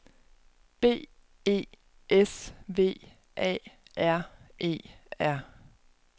B E S V A R E R